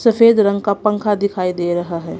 सफेद रंग का पंखा दिखाई दे रहा है।